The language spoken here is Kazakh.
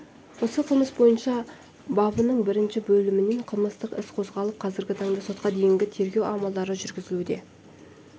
осы қылмыс бойынша бабының бірінші бөлімімен қылмыстық іс қозғалып қазіргі таңда сотқа дейінгі тергеу амалдары жүргізілуде